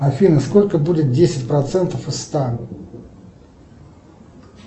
афина сколько будет десять процентов из ста